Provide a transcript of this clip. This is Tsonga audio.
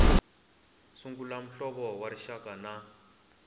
sungula muhlovo wa rixaka na